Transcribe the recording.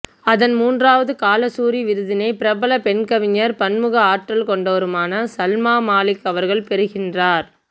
அதன்மூன்றாவது கலாசூரி விருதினை பிரபல பெண்கவிஞர் பன்முக ஆற்றல் கொண்டவருமான சல்மா மாலிக் அவர்கள் பெறுகின்றார்